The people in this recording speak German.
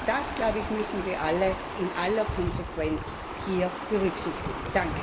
Das, glaube ich, müssen wir alle in aller Konsequenz hier berücksichtigen.